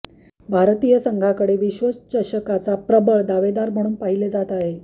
भारतीय संघाकडे विश्वचषकाचा प्रबळ दावेदार म्हणूण पहिले जात आहे